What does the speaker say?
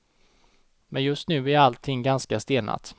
Men just nu är allting ganska stelnat.